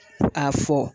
A fɔ